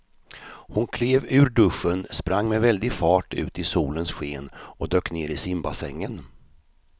Hon klev ur duschen, sprang med väldig fart ut i solens sken och dök ner i simbassängen.